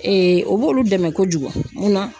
o b'olu dɛmɛ kojugu mun na